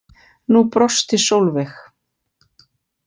Nú brosti Sólveig.